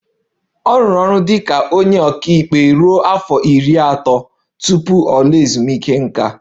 Ọ rụrụ ọrụ dị ka onye ọka ikpe ruo afọ iri atọ tupu ọ laa ezumike nká